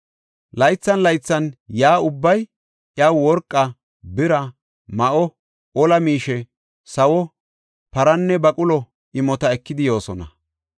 Laythan laythan yaa ubbay iyaw worqa, bira, ma7o, ola miishe, sawo, paranne baqulo imota ekidi yoosona.